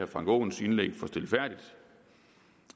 frank aaens indlæg for stilfærdigt